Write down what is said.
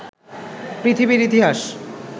পৃথিবীর ইতিহাস